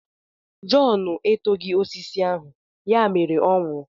Jọn etoghị osisi ahụ, ya mere ọ nwụrụ.